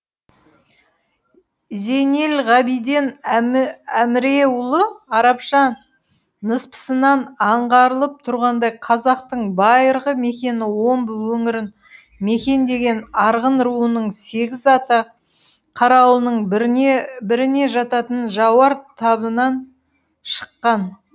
зейнелғабиден әміреұлы арабша ныспысынан аңғарылып тұрғандай қазақтың байырғы мекені омбы өңірін мекендеген арғын руының сегіз ата қарауылының біріне жататын жауар табынан шыққан